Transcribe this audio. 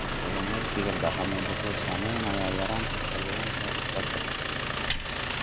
Kalluumeysiga dhaqameed wuxuu saameynayaa yaraanta kalluunka badda.